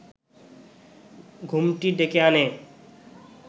ঘুমটি ডেকে আনে